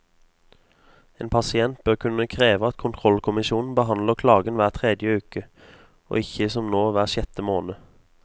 En pasient bør kunne kreve at kontrollkommisjonen behandler klagen hver tredje uke, og ikke som nå hver sjette måned.